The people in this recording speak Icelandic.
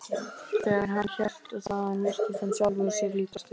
Þegar hann hélt þaðan virtist hann sjálfum sér líkastur.